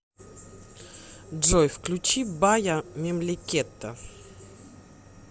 джой включи бая мемлекета